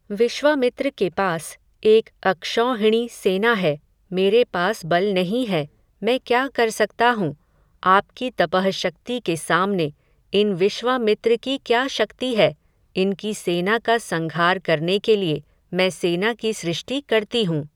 विश्वामित्र के पास, एक अक्षौहिणी सेना है, मेरे पास बल नहीं है, मैं क्या कर सकता हूँ, आपकी तपःशक्ति के सामने, इन विश्वामित्र की क्या शक्ति है, इनकी सेना का संघार करने के लिए, मैं सेना की सृष्टि करती हूँ